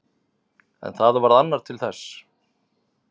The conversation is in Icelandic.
En það varð annar til þess.